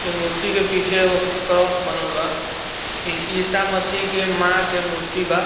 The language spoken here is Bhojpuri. ए मूर्ति के पीछे एगो क्रॉस बनल बा इ ईसा मसीह के मां के मूर्ति बा।